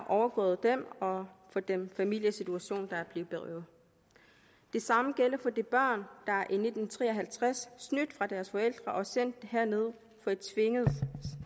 overgået dem og for den familiesituation de er blevet berøvet det samme gælder for de børn der i nitten tre og halvtreds skilt fra deres forældre og sendt herned